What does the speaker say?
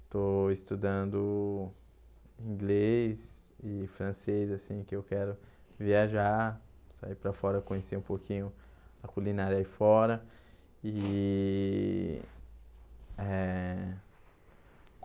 Estou estudando inglês e francês, assim, que eu quero viajar, sair para fora, conhecer um pouquinho a culinária aí fora e eh.